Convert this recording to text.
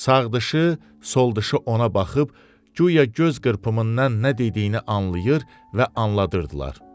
Sağdışı, soldışı ona baxıb guya göz qırpımından nə dediyini anlayır və anladırdılar.